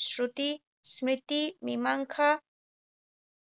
শ্ৰুতি, স্মৃতি, মীমাংসা